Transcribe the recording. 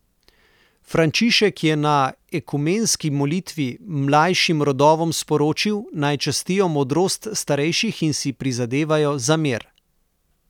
Frančišek je na ekumenski molitvi mlajšim rodovom sporočil, naj častijo modrost starejših in si prizadevajo za mir.